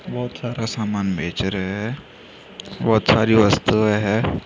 बहुत सारा समान बेंच रहे हैं बहुत सारी वस्तुएं हैं ।